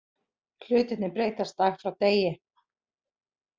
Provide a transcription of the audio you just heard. Hlutirnir breytast dag frá degi